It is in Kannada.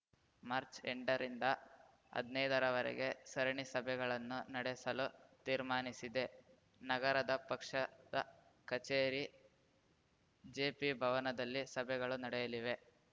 ಮಾರ್ಚ್ಎಂಟರಿಂದ ಹದ್ನೈದರವರೆಗೆ ಸರಣಿ ಸಭೆಗಳನ್ನು ನಡೆಸಲು ತೀರ್ಮಾನಿಸಿದೆ ನಗರದ ಪಕ್ಷದ ಕಚೇರಿ ಜೆಪಿಭವನದಲ್ಲಿ ಸಭೆಗಳು ನಡೆಯಲಿವೆ